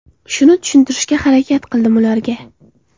Shuni tushuntirishga harakat qildim ularga”.